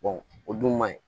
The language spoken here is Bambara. o dun ma ɲi